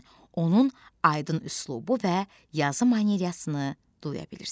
Onun aydın üslubu və yazı manyerasını duya bilirsən.